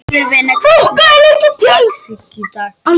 Sigurvina, hvernig er dagskráin í dag?